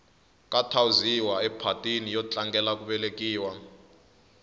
ka thawuziwa ephatini yo tlangela ku velekiwa